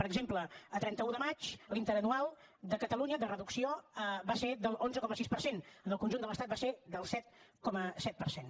per exemple a trenta un de maig l’interanual de catalunya de reducció va ser de l’onze coma sis per cent en el conjunt de l’estat va ser del set coma set per cent